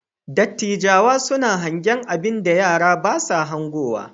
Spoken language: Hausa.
Dattijawa suna hangen abinda yara ba sa hangowa.